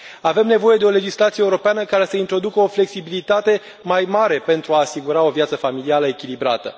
Avem nevoie de o legislație europeană care să introducă o flexibilitate mai mare pentru a asigura o viață familială echilibrată.